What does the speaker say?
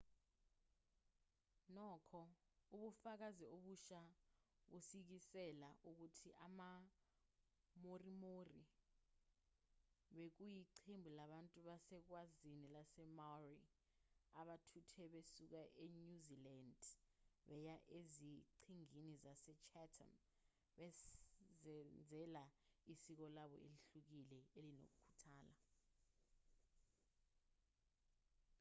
nokho ubufakazi obusha busikisela ukuthi ama-moriori bekuyiqembu labantu basezwekazini lasemaori abathuthe besuka enyuzilandi beya eziqhingini zasechatham bezenzela isiko labo elihlukile elinokuthula